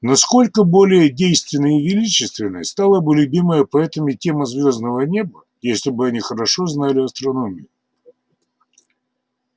насколько более действенной и величественной стала бы любимая поэтами тема звёздного неба если бы они хорошо знали астрономию